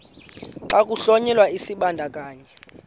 xa kuhlonyelwa isibandakanyi